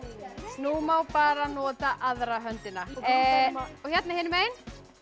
nú má bara nota aðra höndina og hérna hinum megin